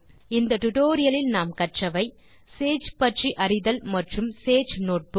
இந்த டியூட்டோரியல் லில் நாம் கற்றவை சேஜ் பற்றி அறிதல் மற்றும் சேஜ் நோட்புக்